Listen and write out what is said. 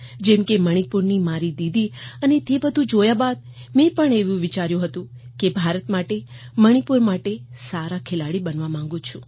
જેમ કે મણીપુરનું મારી દીદી અને તે બધું જોયા બાદ મેં પણ એવું વિચાર્યું હતું કે ભારત માટે મણીપુર માટે સારા ખેલાડી બનવા માગું છું